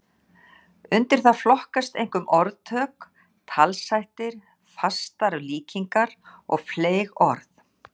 Undir það flokkast einkum orðtök, talshættir, fastar líkingar og fleyg orð.